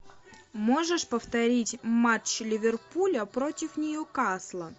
можешь повторить матч ливерпуля против ньюкасла